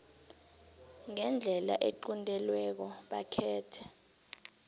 ngendlela equntelweko bakhethe